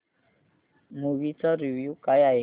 movie चा review काय आहे